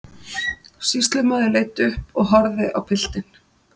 Sýslumaður leit upp og horfði á piltinn.